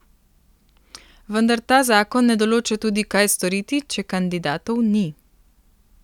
Vendar ta zakon ne določa tudi, kaj storiti, če kandidatov ni.